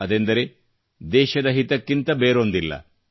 ಅದೆಂದರೆ ದೇಶದ ಹಿತಕ್ಕಿಂತ ಬೇರೊಂದಿಲ್ಲ